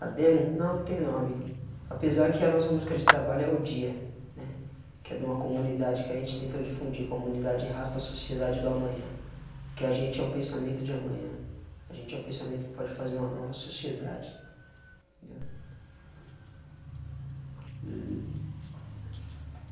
A demo não não tem nome, apesar que a nossa música de trabalho é o dia, né, que é de uma comunidade que a gente tenta difundir, comunidade rasta sociedade do amanhã, que a gente é o pensamento de amanhã, a gente é o pensamento que pode fazer uma nova sociedade. entendeu? E